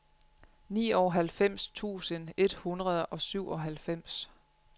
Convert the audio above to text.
nioghalvfems tusind et hundrede og syvoghalvfems